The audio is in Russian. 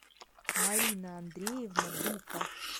марина андреевна дука